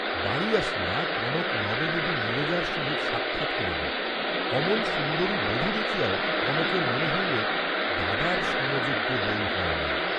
বাড়ী আসিয়া কনক নববধূ নীরজার সহিত সাক্ষাৎ করিল, অমন সুন্দরী বধূ দেখিয়াও কনকের মনে হইল দাদার সমযোগ্য বৌ হয় নাই।